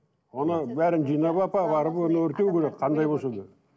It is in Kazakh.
оны бәрін жинап апарып оны өртеу керек қандай болса да